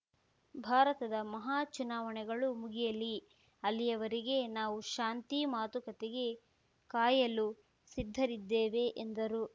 ಭಾರತದ ಮಹಾ ಚುನಾವಣೆಗಳು ಮುಗಿಯಲಿ ಅಲ್ಲಿಯವರೆಗೆ ನಾವು ಶಾಂತಿ ಮಾತುಕತೆಗೆ ಕಾಯಲು ಸಿದ್ಧರಿದ್ದೇವೆ ಎಂದರು